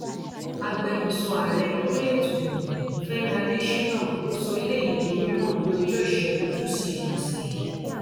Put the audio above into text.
agbẹnusọ ààrẹ lórí ètò ìròyìn fẹmi adésínà ló sọ eléyìí di mímọ ní ọjọ ìṣẹgun túṣídéé ọsẹ yìí